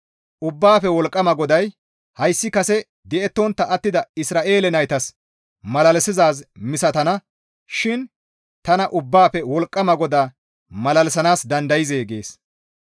Ubbaafe Wolqqama GODAY, «Hayssi kase di7ettontta attida Isra7eele naytas malalisizaaz misatana shin tana Ubbaafe Wolqqama GODA malalisanaas dandayzee?» gees.